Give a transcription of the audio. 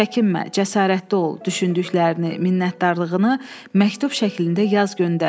Çəkinmə, cəsarətli ol, düşündüklərini, minnətdarlığını məktub şəklində yaz göndər.